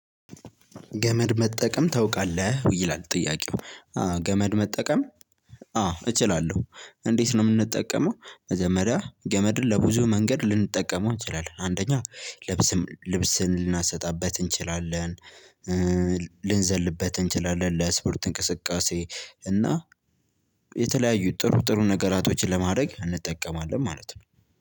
ገመድ መጠቀም ታውቃለህ ይላል ጥያቄው? ገመድ መጠቀም? አዎ እችላለሁ እንዴት ነው የምንጠቀመው መጀመሪያ ገመድን ለብዙ መንገድ ልንጠቀመው እችላለሁ አንደኛ ልብስም ልብስን ልናሰጣበት እንችላለን። ልንዘልበት እንችላለን ለእስፖርት እንቅስቃሴ እና የተለያዩ ጥሩ ጥሩ ነገሮችን ለማድረግ እንጠቀማለን ማለት ነው።